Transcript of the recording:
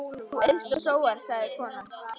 Þú eyst og sóar, sagði konan.